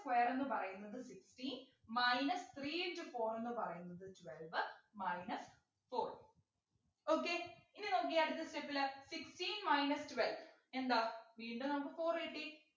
square ന്നു പറയുന്നത് sixteen minus three into four എന്ന് പറയുന്നത് twelve minus four okay ഇനി നോക്കിയേ അടുത്ത step ല് sixteen minus twelve എന്താ വീണ്ടും നമുക്ക് four കിട്ടി